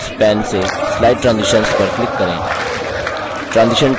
tasks pane से slide transitions पर click करें